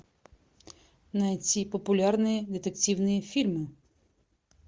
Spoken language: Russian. найти популярные детективные фильмы